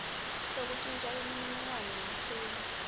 sekuntjintja imininingwane yelikheli